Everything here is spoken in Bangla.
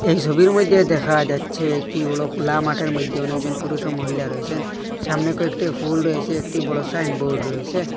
এই সবির মইদ্যে দেখা যাচ্ছে একটি হল খোলা মাটের মইদ্যে অনেকজন পুরুষ ও মহিলা রয়েসেন সামনে কয়েকটি ফুল রয়েসে একটি বড় একটি সাইনবোর্ড রয়েসে।